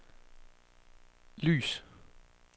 lys